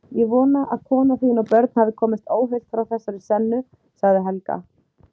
Ég vona að kona þín og börn hafi komist óhult frá þessari sennu, sagði Helga.